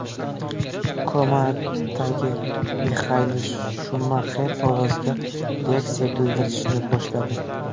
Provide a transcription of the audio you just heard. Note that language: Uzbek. Komadagi Mixael Shumaxer ovozga reaksiya bildirishni boshladi.